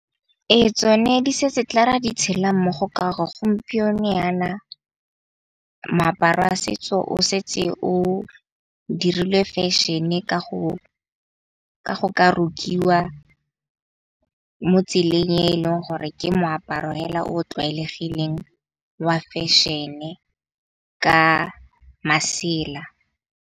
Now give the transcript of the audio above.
E tsone di se se tla ra di tshela mmogo ka gore, gompieno yana moaparo wa setso o setse o dirilwe fashion-e ka go ka rukiwa mo tseleng e leng gore ke moaparo hela o o tlwaelegileng wa fashion-e ka masela.